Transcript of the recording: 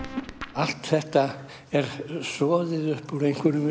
allt þetta er soðið upp úr einhverjum